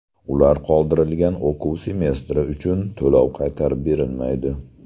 Ular qoldirilgan o‘quv semestri uchun to‘lov qaytarib berilmaydi.